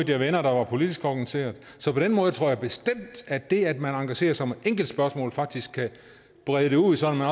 jeg venner der var politisk organiseret så på den måde tror jeg bestemt at det at man engagerer sig i et enkelt spørgsmål faktisk kan brede det ud sådan at